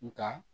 Nga